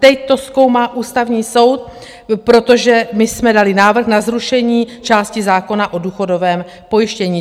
Teď to zkoumá Ústavní soud, protože my jsme dali návrh na zrušení části zákona o důchodovém pojištění.